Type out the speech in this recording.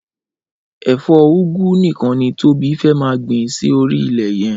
Ẹfọ úgwú nikàn ni Tobi fẹ̀ maá gbin si óri ilẹ yẹn